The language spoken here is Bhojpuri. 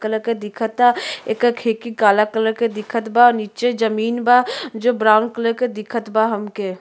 कलर के दिखता ये कर खिड़की काला कलर के दिखता और नीचे जमीन बा जो ब्राउन कलर के दिखता बा हम के।